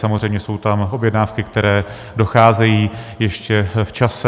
Samozřejmě jsou tam objednávky, které docházejí ještě v čase.